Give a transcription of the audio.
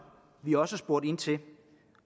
vi også har spurgt ind til